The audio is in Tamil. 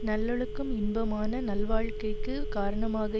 நல்லொழுக்கம் இன்பமான நல்வாழ்க்கைக்குக் காரணமாக